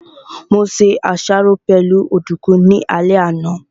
Mo se àsáró pẹ̀lú ọ̀dùkún ní alẹ́ àná